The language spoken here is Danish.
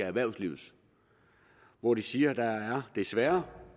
erhvervslivet hvor de siger at der desværre